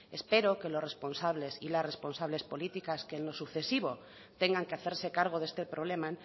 espero que los responsables y las responsables políticas que en lo sucesivo tengan que hacerse cargo de este problema